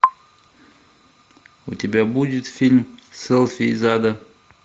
у тебя будет фильм селфи из ада